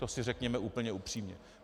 To si řekněme úplně upřímně.